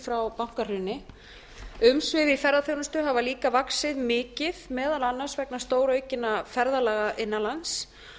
frá bankahruni umsvif í ferðaþjónustu hafa líka vaxið mikið meðal annars vegna stóraukinna ferðalaga innan lands